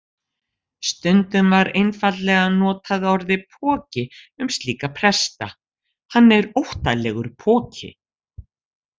Stundum var einfaldlega notað orðið poki um slíka presta: Hann er óttalegur poki.